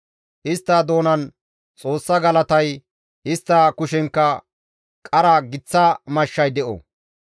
Istta doonan Xoossa galatay, istta kushenkka qara giththa mashshay de7o.